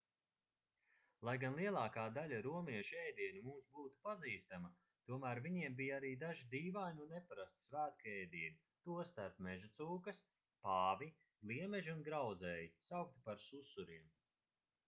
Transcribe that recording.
lai gan lielākā daļa romiešu ēdienu mums būtu pazīstama tomēr viņiem bija arī daži dīvaini un neparasti svētku ēdieni tostarp mežacūkas pāvi gliemeži un grauzēji saukti par susuriem